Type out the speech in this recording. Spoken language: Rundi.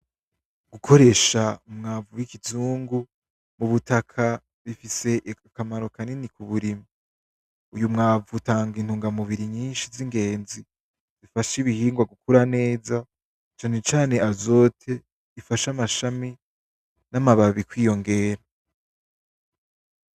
Gukoresha umwavu wikizungu, mubutaka, bifise akamaro kanini kuburima. Uyu mwavu utanga intunga mubiri nyinshi z'ingenzi zifasha ibihingwa gukura neza, cane cane azote ifasha amashami namababi kwiyongera.